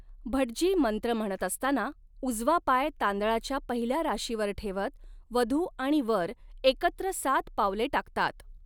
भटजी मंत्र म्हणत असताना उजवा पाय तांदळाच्या पहिल्या राशीवर ठेवत, वधू आणि वर एकत्र सात पावले टाकतात.